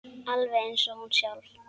Alveg eins og hún sjálf.